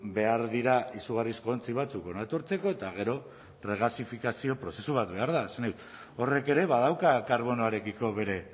behar dira izugarrizko ontzi batzuk hona etortzeko eta gero regasifikazio prozesu bat behar da horrek ere badauka karbonoarekiko bere